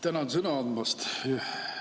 Tänan sõna andmast!